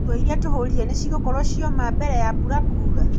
Nguo iria tũhũrire nĩcigũkorwo ciaura mbere ya mbura kuura?